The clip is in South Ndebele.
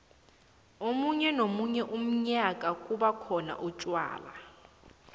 komunye nomunye umnyanya kubakhona utjwala